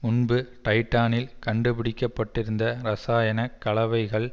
முன்பு டைடானில் கண்டுபிடிக்கப்பட்டிருந்த இரசாயன கலவைகள்